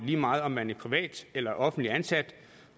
lige meget om man er privat eller offentligt ansat